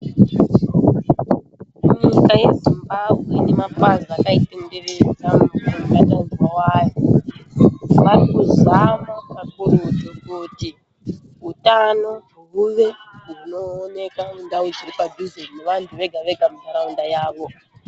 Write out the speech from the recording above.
Munyika yeZimbabwe nemapazi akaitenderedza nemubatanidzwa wayo varikuzama kakurutu kuti utano huve hunooneka mundau dziri padhuze nevanthu vega vega munharaunda yavo.